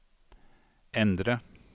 endre